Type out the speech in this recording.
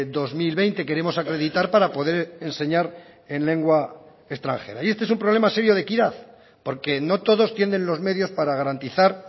dos mil veinte queremos acreditar para poder enseñar en lengua extranjera y este es un problema serio de equidad porque no todos tienen los medios para garantizar